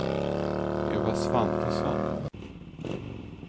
Eva Svantesson